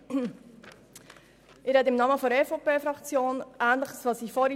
Ich äussere mich im Namen der EVP-Fraktion ähnlich wie vorhin.